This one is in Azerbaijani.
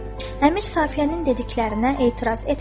Əmir Safiyənin dediklərinə etiraz etmədi.